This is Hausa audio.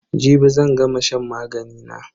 Jibi zan gama shan magani na.